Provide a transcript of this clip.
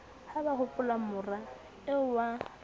ha ba hopolamora eo wa